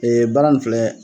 Ee baara nin filɛ.